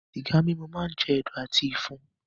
Sìgá mímu máá ń jẹ̀dọ̀ àti ìfun.